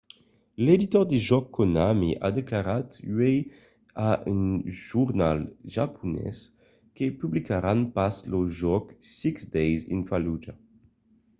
l’editor de jòcs konami a declarat uèi a un jornal japonés que publicaràn pas lo jòc six days in fallujah